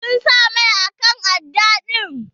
Sun sa mai akan aɗɗa din.